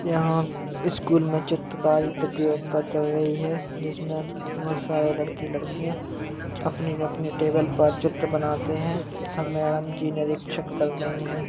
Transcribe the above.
यहाँ स्कूल में चित्रकारी प्रतियोगिता चल रही है जिसमें बोहोत सारे लड़के लड़कियाँ अपने अपने टेबल पर चित्र बनाते हैं तथा मैंडम जी निरीक्षक कर रही है।